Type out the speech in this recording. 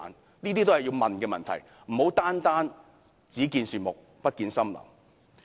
這些是我們要問的問題，不可單單"只見樹木，不見森林"。